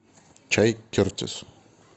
чай кертис